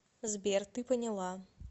сбер ты поняла